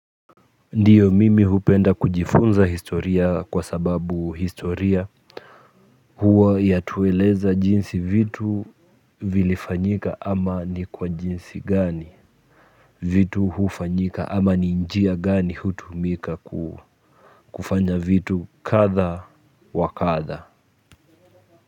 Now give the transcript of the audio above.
Ndiyo mimi hupenda kujifunza historia kwa sababu historia huwa yatueleza jinsi vitu vilifanyika ama ni kwa jinsi gani vitu hufanyika ama ni njia gani hutumika kufanya vitu kadha wa kadha.